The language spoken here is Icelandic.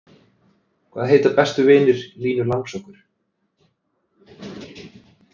Hvaða heita bestu vinir Línu langsokkur?